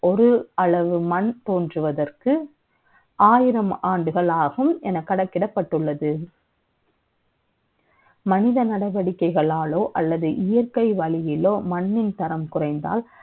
ஒரு அளவு முன் தோன்றுவதற்கு ஆயிரம் ஆண்டுகள் ஆகும் என கணக்கிடப்பட்டுள்ளது மனித நடவடிக்கைகளாலோ அல்லது இயற்கை வழி இல்லையோ மண்ணின் தரம் குறைந்தல்